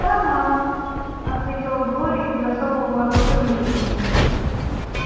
да мама ответила глория без особого воодушевления